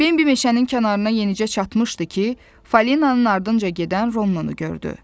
Bembi meşənin kənarına yenicə çatmışdı ki, Falinanın ardınca gedən Ronu gördü.